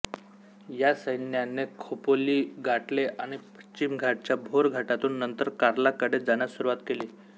या सैन्याने खोपोली गाठले आणि पश्चिम घाटच्या भोर घाटातून नंतर कार्लाकडे जाण्यास सुरुवात केली